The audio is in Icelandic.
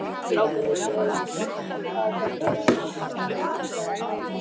Strákarnir sögðu að þetta væri þeirra staður, sagði Emil.